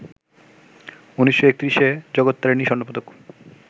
১৯৩১-এ "জগত্তারিণী স্বর্ণপদক"